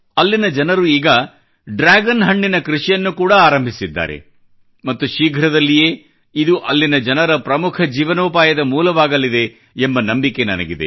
ಅಲ್ಲಿನ ಜನರು ಈಗ ಡ್ರಾಗನ್ ಹಣ್ಣಿನ ಕೃಷಿಯನ್ನು ಕೂಡಾ ಆರಂಭಿಸಿದ್ದಾರೆ ಮತ್ತು ಶೀಘ್ರದಲ್ಲಿಯೇ ಇದು ಅಲ್ಲಿನ ಜನರ ಪ್ರಮುಖ ಜೀವನೋಪಾಯದ ಮೂಲವಾಗಲಿದೆ ಎಂಬ ನಂಬಿಕೆ ನನಗಿದೆ